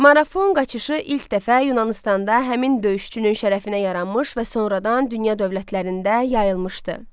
Marafon qaçışı ilk dəfə Yunanıstanda həmin döyüşçünün şərəfinə yaranmış və sonradan dünya dövlətlərində yayılmışdı.